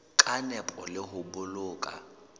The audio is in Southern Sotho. ka nepo le ho boloka